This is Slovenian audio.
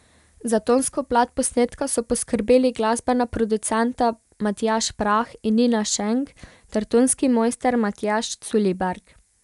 Za tonsko plat posnetka so poskrbeli glasbena producenta Matjaž Prah in Nina Šenk ter tonski mojster Matjaž Culiberg.